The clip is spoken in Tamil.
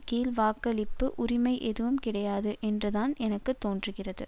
கீழ் வாக்களிப்பு உரிமை எதுவும் கிடையாது என்று தான் எனக்கு தோன்றுகிறது